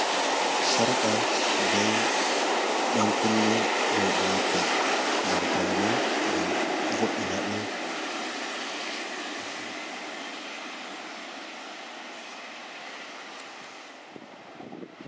Sarqa be ɗankunne rooɓe watta ngam paune, ngam vo’ina ɓe.